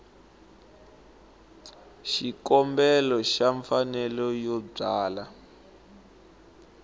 xikombelo xa mfanelo yo byala